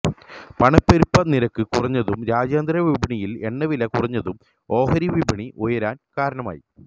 പണപ്പെരുപ്പ നിരക്ക് കുറഞ്ഞതും രാജ്യാന്തര വിപണിയില് എണ്ണവില കുറഞ്ഞതും ഓഹരിവിപണി ഉയരാന് കാരണമായി